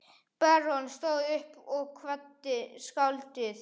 Baróninn stóð upp og kvaddi skáldið.